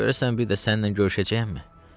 Görəsən bir də səninlə görüşəcəyəmmi?